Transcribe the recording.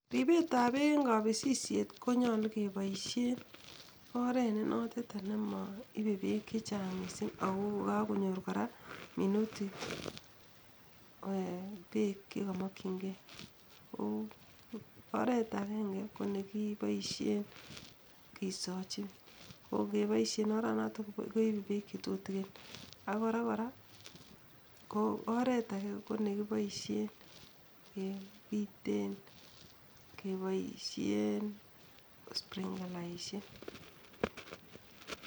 Ribet noton Nebo bek ko koboishen konyor minutik cheyemei eng kisochin anan keboishe [sprinkalishek]